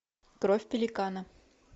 кровь пеликана